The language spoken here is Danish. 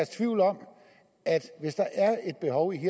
tvivl om at hvis der er et behov i